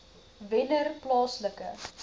wennerplaaslike